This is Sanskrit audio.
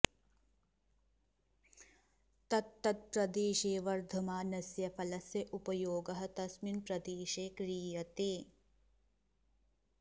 तत्तत् प्रदेशे वर्धमानस्य फलस्य उपयोगः तस्मिन् प्रदेशे क्रियते